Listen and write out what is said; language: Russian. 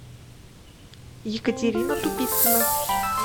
екатерина тупицына